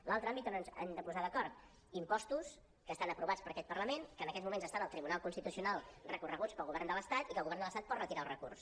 l’altre àmbit on ens hem de posar d’acord impostos que estan aprovats per aquest parlament que en aquests moments estan al tribunal constitucional recorreguts pel govern de l’estat i que el govern de l’estat pot retirar el recurs